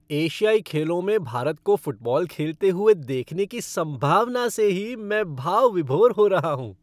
एशियाई खेलों में भारत को फ़ुटबॉल खेलते हुए देखने की संभावना से ही मैं भाव विभोर हो रहा हूँ!